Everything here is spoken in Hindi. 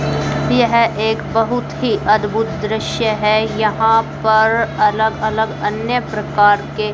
यह एक बहुत ही अद्भुत दृश्य है यहां पर अलग अलग अन्य प्रकार के--